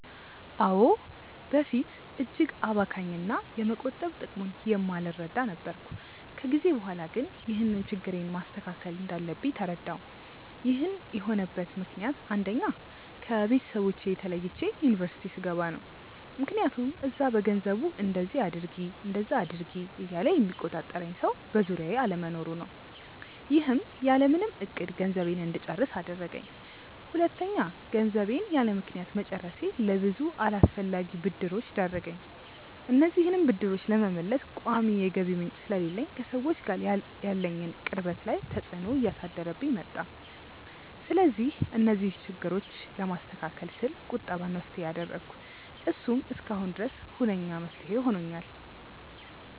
አዎ። በፊት እጅግ አባካኝ እና የመቆጠብ ጥቅሙን የማልረዳ ነበርኩ። ከጊዜ በኋላ ግን ይህንን ችግሬን ማስተካከል እንዳለብኝ ተረዳሁ። ይህን የሆነበት ምክንያት አንደኛ: ከቤተሰቦቼ ተለይቼ ዩኒቨርስቲ ስገባ ነው። ምክያቱም እዛ በገንዘቡ እንደዚ አድርጊ እንደዛ አድርጊ እያለ የሚቆጣጠረኝ ሰው በዙሪያዬ አለመኖሩ ነው። ይህም ያለምንም እቅድ ገንዘቤን እንድጨርስ አደረገኝ። ሁለተኛ: ገንዘቤን ያለምክንያት መጨረሴ ለብዙ አላስፈላጊ ብድሮች ዳረገኝ። እነዚህንም ብድሮች ለመመለስ ቋሚ የገቢ ምንጭ ስለሌለኝ ከሰዎች ጋር ያለኝን ቅርበት ላይ ተፅዕኖ እያሳደረብኝ መጣ። ስለዚህ እነዚህን ችግሮች ለማስተካከል ስል ቁጠባን መፍትሄ አደረኩ። እሱም እስካሁን ድረስ ሁነኛ መፍትሄ ሆኖኛል።